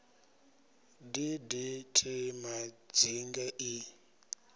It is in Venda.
d d t madzinge i